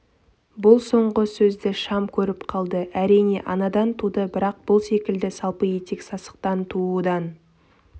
бұл соңғы сөзді шам көріп қалды әрине анадан туды бірақ бұл секілді салпы етек сасықтан туудан